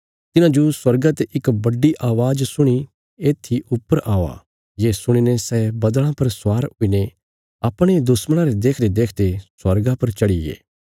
तिन्हांजो स्वर्गा ते इक बड्डी अवाज़ सुणीं येत्थी ऊपर औआ ये सुणीने सै बद्दल़ां पर स्वार हुईने अपणे दुश्मणां रे देखदेदेखदे स्वर्गा पर चढ़ीगे